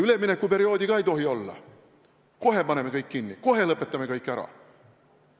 Üleminekuperioodi ka ei tohi olla, kohe paneme kõik kinni, kohe lõpetame kõik ära.